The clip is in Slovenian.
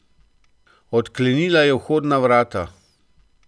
Odklenila je vhodna vrata.